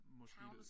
Måske at